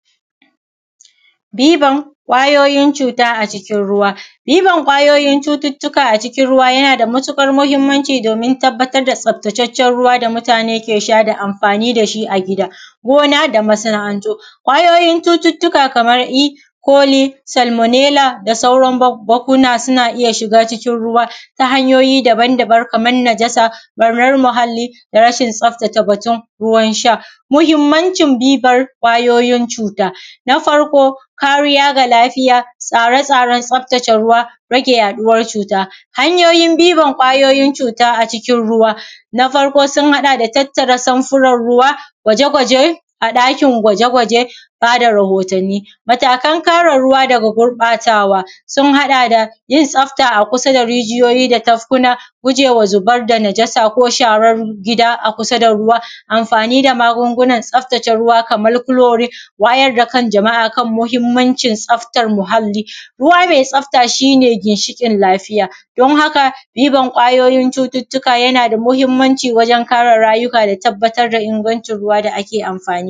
Diban ƙwayoyin cuuta acikin ruwa. Diban ƙwayoyin cututtuka acikin ruwa yana da matuƙar muhimmanci doomin tabbatar da tsabtataccen ruwa da mutaane ke sha da amfaani da shi a gida, gona da masana’antu. ƙwayoyin cututtuka kamar id, chole, salmonella da sauran babbakuna suna iya ʃiga cikin ruwa ta hanyoyi daban-daban kamar najasa, ɓarnar muhalli da rashin tsaftace batun ruwan sha. Muhimmanʧin dibar ƙwayoyin cuuta, na farko kariya ga lafiya, tsare-tsaren tsaftace ruwa, rage yaɗuwar cuuta. Hanyoyin dibar ƙwayoyin cuuta acikin ruwa, na farko sun haɗa da tattara samfuran ruwa, gwaje-gwaje a ɗakin gwaje-gwaje, baa da rahotanni. Matakan kare ruwa daga gurɓaatawa sun haɗa da yin tsafta a kusa da rijiyoyi da tafkuna, gujewa zubar da najasa da sharar gida a kusa da ruwa, amfaani da magungunan tsaftace ruwa kamar chloride, wayar da kan jama’a kan muhimmancin tsaftar muhalli, ruwa mai tsafta shi ne ginshiƙin lafiya, don haka dibar ƙwayoyin cututtuka yana da muhimmanci wurin kare rayuka da tabbatar da ingancin ruwa da ake amfaani.